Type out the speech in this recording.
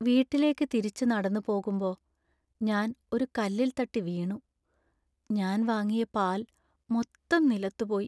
വീട്ടിലേക്ക് തിരിച്ചു നടന്നു പോകുമ്പ, ഞാൻ ഒരു കല്ലിൽ തട്ടി വീണു. ഞാൻ വാങ്ങിയ പാൽ മൊത്തം നിലത്തു പോയി .